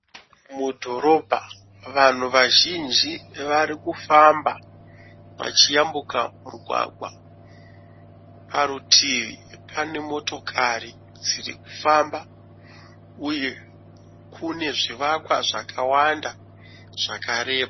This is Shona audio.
Mudhorobha vanhu vazhinji vari kufamba vachiyambuka mugwagwa. Parutivi pane motokari dziri kufamba, uye kune zvivakwa zvakawanda zvakareba.